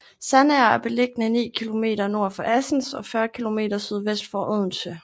Sandager er beliggende ni kilometer nord for Assens og 40 kilometer sydvest for Odense